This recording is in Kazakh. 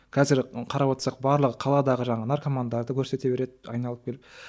қазір қарап отырсақ барлығы қаладағы жаңағы наркомандарды көрсете береді айналып келіп